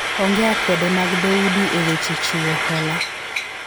onge akwede mag dhoudi e weche chiwo hola